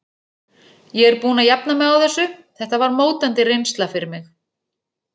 Ég er búinn að jafna mig á þessu, þetta var mótandi reynsla fyrir mig.